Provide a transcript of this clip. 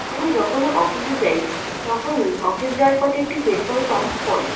আমি যখনই অফিস -এ যাই তখনই অফিস যাওয়ার পথে একটি পেট্রোল পাম্প পরে।